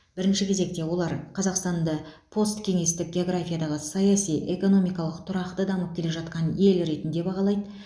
бірінші кезекте олар қазақстанды посткеңестік географиядағы саяси экономикалық тұрақты дамып келе жатқан ел ретінде бағалайды